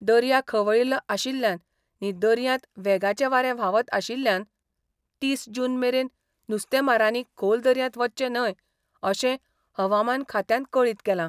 दर्या खवळील्लो आशिल्ल्यान नी दर्यांत वेगाचें वारें व्हावता आशिल्ल्यान तीस जून मेरेन नुस्तेमारांनी खोल दर्यांत वच्चें न्हय अशें हवामान खात्यान कळीत केलां.